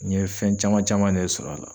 N ye fɛn caman caman de sɔr'a la.